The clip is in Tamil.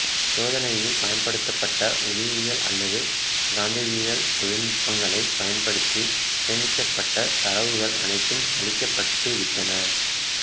சோதனையில் பயன்படுத்தப்பட்ட ஒளியியல் அல்லது காந்தவியல் தொழில்நுட்பங்களைப் பயன்படுத்தி சேமிக்கப்பட்ட தரவுகள் அனைத்தும் அழிக்கப்பட்டுவிட்டன